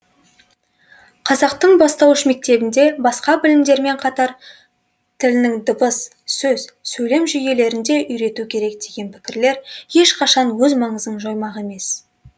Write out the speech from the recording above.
қазақтың бастауыш мектебінде басқа білімдермен қатар тілінің дыбыс сөз сөйлем жүйелерін де үйрету керек деген пікірлер ешқашан өз маңызын жоймақ емес